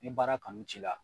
Ni baara kanu t'i la